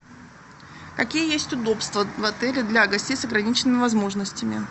какие есть удобства в отеле для гостей с ограниченными возможностями